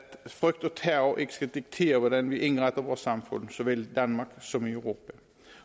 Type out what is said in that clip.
frygt og terror ikke skal diktere hvordan vi indretter vores samfund såvel i danmark som i europa